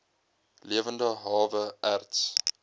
lewende hawe erts